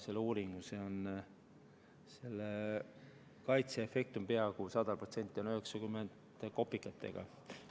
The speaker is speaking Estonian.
Selle uuringu järgi on selle kaitseefekt peaaegu 100%, 90% kopikatega.